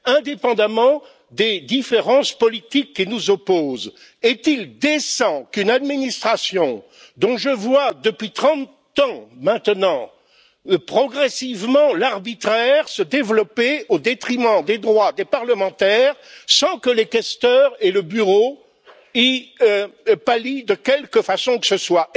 Indépendamment des différences politiques qui nous opposent, est il décent de laisser une telle situation perdurer au sein d'une administration dont je vois, depuis 30 ans maintenant, l'arbitraire se développer progressivement au détriment des droits des parlementaires, sans que les questeurs et le Bureau y pallient de quelque façon que ce soit?